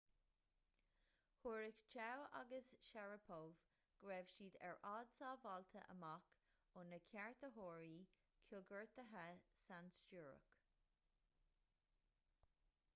thuairisc chiao agus sharipov go raibh siad ar fhad sábháilte amach ó na ceartaitheoirí coigeartaithe sainstiúrach